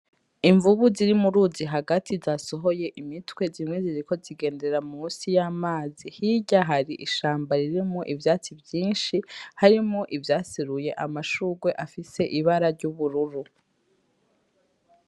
Imvubu ziri mu ruzi hagati zasohoye imitwe. Zimwe ziriko zigendera munsi y'amazi. Hirya hari ishamba ririmwo ivyatsi vyinshi, harimwo ivyaseruye amashurwe afise ibara ry'ubururu.